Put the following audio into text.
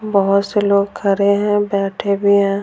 बहुत से लोग खड़े हैं बैठे भी हैं।